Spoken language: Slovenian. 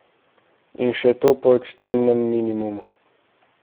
In še to po ekstremnem minimumu.